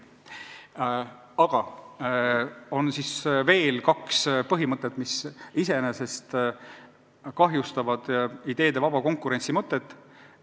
Aga on veel kaks asja, mis iseenesest kahjustavad ideede vaba konkurentsi keskkonda.